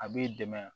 A b'i dɛmɛ